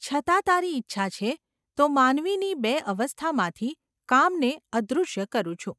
છતાં તારી ઈચ્છા છે તો માનવીની બે અવસ્થામાંથી કામને અદૃશ્ય કરું છું.